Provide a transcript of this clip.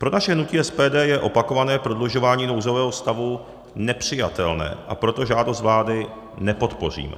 Pro naše hnutí SPD je opakované prodlužování nouzového stavu nepřijatelné, a proto žádost vlády nepodpoříme.